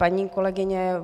Paní kolegyně